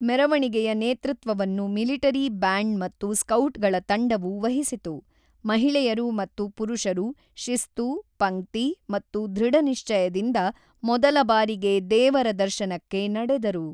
ಮೆರವಣಿಗೆಯ ನೇತೃತ್ವವನ್ನು military band ಮತ್ತು ಸ್ಕೌಟ್‌ಗಳ ತಂಡವು ವಹಿಸಿತು; ಮಹಿಳೆಯರು ಮತ್ತು ಪುರುಷರು ಶಿಸ್ತು, ಪಂಕ್ತಿ ಮತ್ತು ದೃಢನಿಶ್ಚಯದಿಂದ ಮೊದಲ ಬಾರಿಗೆ ದೇವರ ದರ್ಶನಕ್ಕೆ ನಡೆದರು.